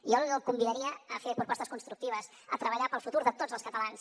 jo el convidaria a fer propostes constructives a treballar pel futur de tots els catalans